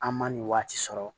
An ma nin waati sɔrɔ